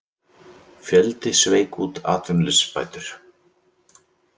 Fjöldi sveik út atvinnuleysisbætur